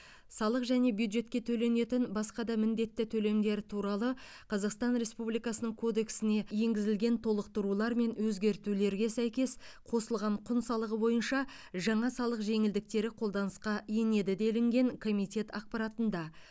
салық және бюджетке төленетін басқа да міндетті төлемдер туралы қазақстан республикасының кодексіне енгізілген толықтырулар мен өзгетулерге сәйкес қосылған құн салығы бойынша жаңа салық жеңілдіктері қолданысқа енеді делінген комитет ақпаратында